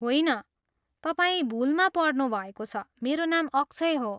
होइन, तपाईँ भुलमा पर्नुभएको छ, मेरो नाम अक्षय हो।